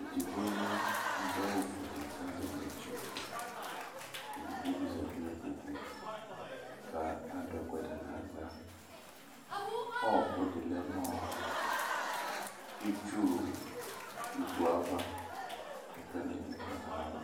Edigbo ya kʋ adʋ awʋfuele kʋ azɛ ɩvlɩtsɛ Edigbo bɩ zati nʋ kpoku kʋ adʋ ɛkʋɛdɩ nʋ aɣla Ɔɣɔkʋ dɩblɛ nʋ ɔ itsu ikpoku yɛ ava Ɛkʋɛdɩnɩ bɩ kɔ nʋ ayava